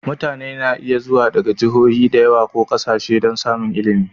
Mutane na iya zuwa daga Jihohi da yawa ko ƙasashe don samun ilimi.